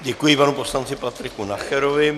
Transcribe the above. Děkuji panu poslanci Patriku Nacherovi.